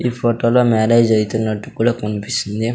ఈ ఫోటోలో మ్యారేజ్ అయితునట్టు కూడా కనిపిస్తుంది.